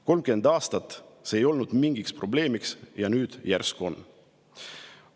30 aastat ei olnud see mingi probleemi ja nüüd järsku on!